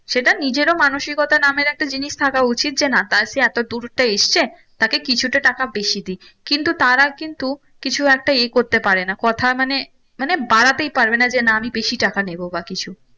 সেটা নিজের ও মানসিকতা নামের একটা জিনিস থাকা উচিত যে না তার সে এতো দূর টা এসেছে তাকে কিছুটা টাকা বেশি দি কিন্তু তারা কিন্তু কিছু একটা ইয়ে করতে পারে না কথার মানে মানে বাড়াতেই পারবে না যে না আমি বেশি টাকা নেবো বা কিছু